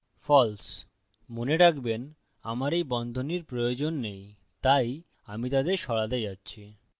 false মনে রাখবেন আমার এই বন্ধনীর প্রয়োজন নেই তাই আমি তাদের সরাতে যাচ্ছি